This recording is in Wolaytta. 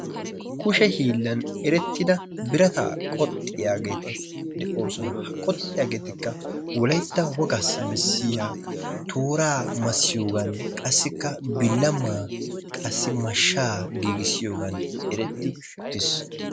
kushe hiillan erettida birataa qoxxiyageeti de'oosina, ha qoxxiyaageetikka wolaytta wogaa tooraa massiyoogan qassikka bilamaa qassi mashshaa giigissiyogan eretii utiis.